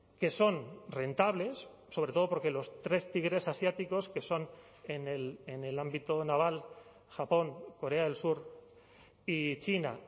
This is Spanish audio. que son rentables sobre todo porque los tres tigres asiáticos que son en el ámbito naval japón corea del sur y china